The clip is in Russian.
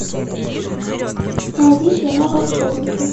найди кино волшебники